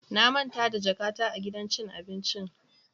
Na manta da jakata a gidan cin abincin.